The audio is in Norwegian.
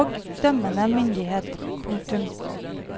og dømmende myndighet. punktum